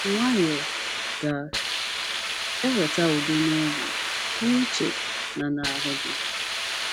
Nwayọọ ga - eweta udo n’obi, n’uche, na n’ahụ gị.